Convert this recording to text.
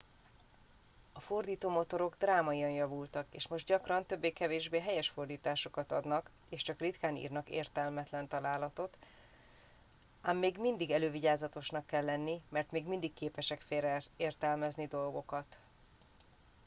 a fordítómotorok drámaian javultak és most gyakran többé-kevésbé helyes fordításokat adnak és csak ritkán írnak értelmetlen találatot ám még mindig elővigyázatosnak kell lenni mert még mindig képesek félreértelmezni dolgokat